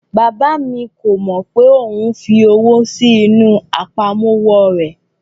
Bàbá mi kò mọ pé òun fi owó sí inú àpamọ́wọ́ rẹ̀